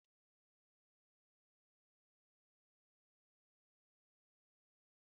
Enwere m mmasị n'ụzọ pastọ m na-akọ akụkọ ya